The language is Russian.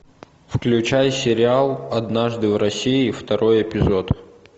включай сериал однажды в россии второй эпизод